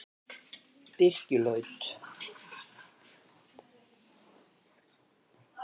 Birkilaut